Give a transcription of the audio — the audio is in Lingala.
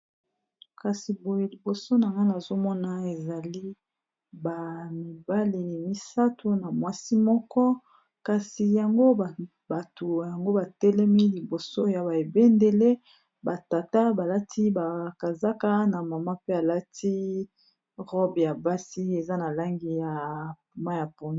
kasi boye liboso na ngana azomona ezali bamibale misato na mwasi moko kasi yango bato yango batelemi liboso ya baebendele batata balati bakazaka na mama pe alati robe ya basi eza na langi ya mwa ya poune